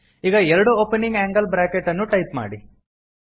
ಈಗ ಎರಡು opening angle bracket ಅನ್ನು ಟೈಪ್ ಮಾಡಿ